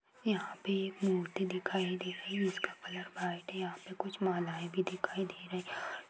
यहाँ पे एक मूर्ति दिखाई दे रही है उसका कलर व्हाइट है यहां पे कुछ मालाये भी दिखाई दे रही हैं।